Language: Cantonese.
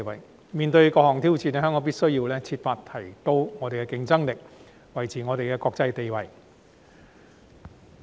香港面對各項挑戰，必須設法提升競爭力，維持國際地位。